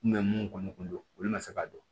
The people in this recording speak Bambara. mun kɔni kun don olu man se ka dɔn